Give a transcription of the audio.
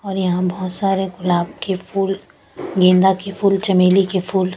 और यहा बोहोत सारे गुलाब के फूल गेंदा के फूल चमेली के फूल --